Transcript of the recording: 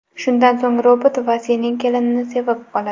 Shundan so‘ng robot Vasining kelinini sevib qoladi.